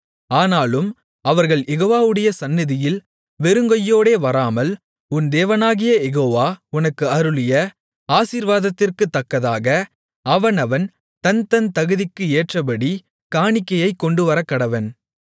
ஆனாலும் அவர்கள் யெகோவாவுடைய சந்நிதியில் வெறுங்கையோடே வராமல் உன் தேவனாகிய யெகோவா உனக்கு அருளிய ஆசீர்வாதத்திற்குத்தக்கதாக அவனவன் தன் தன் தகுதிக்கு ஏற்றபடி காணிக்கையைக் கொண்டுவரக்கடவன்